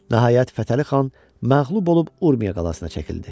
Nəhayət, Fətəli xan məğlub olub Urmiya qalasına çəkildi.